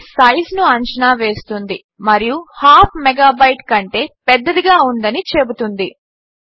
ఇది సైజ్ను అంచానా వేస్తుంది మరియు హాఫ్ మెగాబైట్ కంటే పెద్దదిగా ఉందని చెబుతుంది